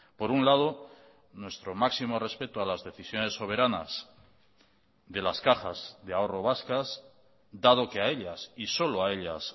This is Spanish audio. por un lado nuestro máximo respeto a las decisiones soberanas de las cajas de ahorro vascas dado que a ellas y solo a ellas